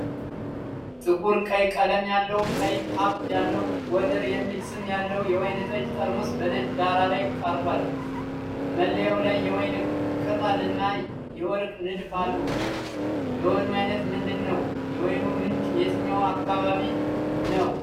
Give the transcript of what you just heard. ጥቁር ቀይ ቀለም ያለው፣ ቀይ ካፕ ያለው፣ "ጎደር" የሚል ስም ያለው የወይን ጠጅ ጠርሙስ በነጭ ዳራ ላይ ቀርቧል። መለያው ላይ የወይን ቅጠል እና የወርቅ ንድፍ አሉ። የወይኑ ዓይነት ምንድን ነው? የወይኑ ምንጭ የትኛው አካባቢ ነው?